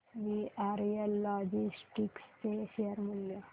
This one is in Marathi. वीआरएल लॉजिस्टिक्स चे शेअर मूल्य